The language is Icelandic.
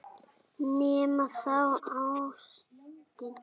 Nema þá ástin.